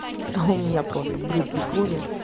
а у меня просто брызги крови